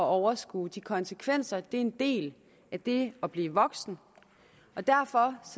overskue de konsekvenser er en del af det at blive voksen og derfor